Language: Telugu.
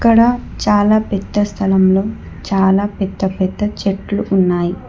ఇక్కడ చాలా పెద్ద స్థలంలో చాలా పెద్ద పెద్ద చెట్లు ఉన్నాయ్.